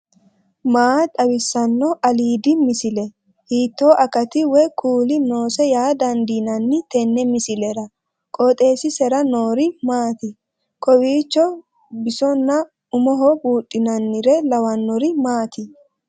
maa xawissanno aliidi misile ? hiitto akati woy kuuli noose yaa dandiinanni tenne misilera? qooxeessisera noori maati ? kowiicho bisonna umoho buudhinannire lawannori maati